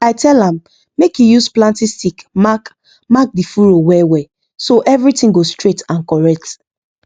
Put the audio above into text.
i tell am make he use planting stick mark mark the furrow well well so everything go straight and correct